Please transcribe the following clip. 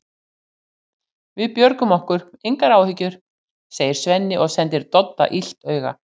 Við björgum okkur, engar áhyggjur, segir Svenni og sendir Dodda illt auga.